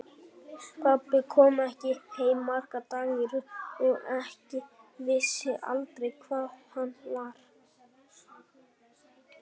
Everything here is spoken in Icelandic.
Pabbi kom ekki heim marga daga í röð og ég vissi aldrei hvar hann var.